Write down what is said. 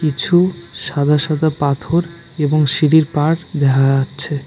কিছু সাদা সাদা পাথর এবং সিঁড়ির পাড় দেখা যাচ্ছে।